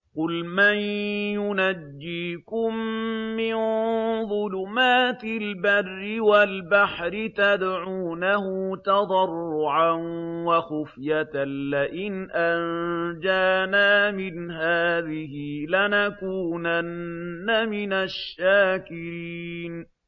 قُلْ مَن يُنَجِّيكُم مِّن ظُلُمَاتِ الْبَرِّ وَالْبَحْرِ تَدْعُونَهُ تَضَرُّعًا وَخُفْيَةً لَّئِنْ أَنجَانَا مِنْ هَٰذِهِ لَنَكُونَنَّ مِنَ الشَّاكِرِينَ